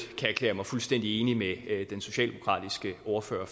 erklære mig fuldstændig enig med den socialdemokratiske ordfører